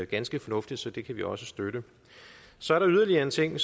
ganske fornuftigt så det kan vi også støtte så er der yderligere en ting